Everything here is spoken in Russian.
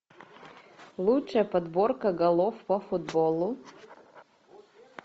лучшая подборка голов по футболу